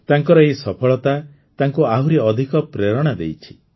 ତାଙ୍କର ଏହି ସଫଳତା ତାଙ୍କୁ ଆହୁରି ଅଧିକ ପ୍ରେରଣା ଦେଇଛି